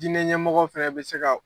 Diinɛ ɲɛmɔgɔ fɛnɛ bɛ se ka